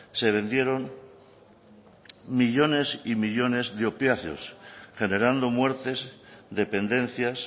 se vendieron millónes y millónes de opiáceos generando muertes dependencias